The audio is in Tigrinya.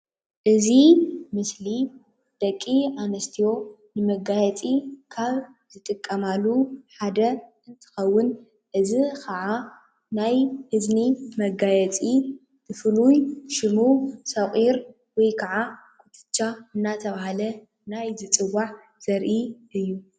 እዚ ምስሊ ደቂ ኣንስትዮ ንመጋየፂ ካብ ዝጥቀማሉ ሓደ እንትኸውን እዚ ካዓ ናይ እዝኒ መጋየፂ ብፍሉይ ሽሙ ሰቚር ወይ ካዓ ኩቱቻ እንዳተበሃለ ናይ ዝፅዋዕ ዘርኢ እዩ።